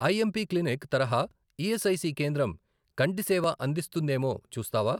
IMP clinic తరహా ESIC కేంద్రం కంటి సేవ అందిస్తుందేమో చూస్తావా?